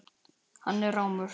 Hann er rámur.